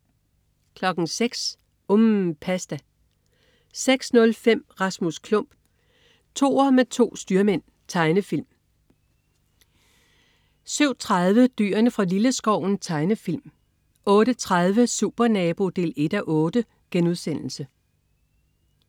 06.00 UMM. Pasta 06.05 Rasmus Klump. Toer med to styrmænd. Tegnefilm 07.30 Dyrene fra Lilleskoven. Tegnefilm 08.30 Supernabo 1:8*